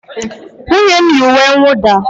Nwunye m yi uwe nwụda